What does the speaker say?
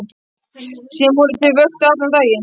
Síðan voru þau vöktuð allan daginn.